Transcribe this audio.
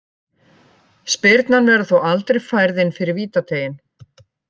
Spyrnan verður þó aldrei færð inn fyrir vítateiginn.